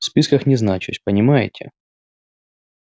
в списках не значусь понимаете